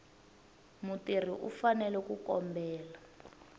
mutirhi u fanele ku kombela